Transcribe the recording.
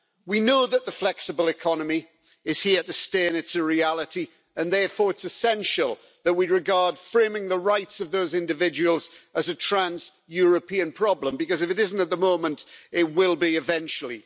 We know that the flexible economy is here to stay and it's a reality, and therefore it's essential that we regard framing the rights of those individuals as a trans European problem because if it isn't at the moment, it will be eventually.